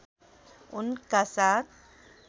उनका साथ